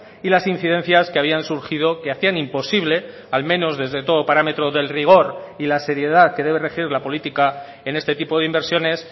y las incidencias que habían surgido que hacían imposible al menos desde todo parámetro del rigor y la seriedad que debe regir la política en este tipo de inversiones